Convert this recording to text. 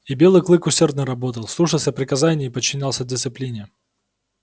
и белый клык усердно работал слушался приказаний и подчинялся дисциплине